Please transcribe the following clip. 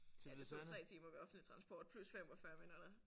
Ja det tog 3 timer med offentlig transport plus 45 minutter